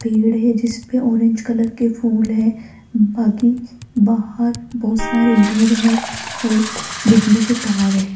पेड़ हैं जिस पे ऑरेंज कलर के फूल है बाकी बाहर बहुत सारे घर है और बिजली के तार है।